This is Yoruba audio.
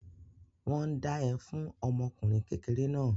Wọ́n ń dá ẹ fún ọmọ ọkùnrin kékeré náà.